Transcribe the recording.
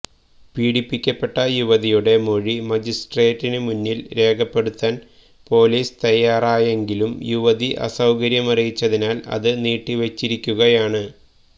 പീഡിപ്പിക്കപ്പെട്ട യുവതിയുടെ മൊഴി മജിസ്ട്രേറ്റിന് മുന്നിൽ രേഖപ്പെടുത്താൻ പൊലീസ് തയ്യാറായെങ്കിലും യുവതി അസൌകര്യമറിയിച്ചതിനാൽ അത് നീട്ടിവച്ചിരിക്കുകയാണ്